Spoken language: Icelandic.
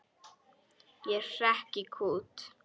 Ég hrekk í kút.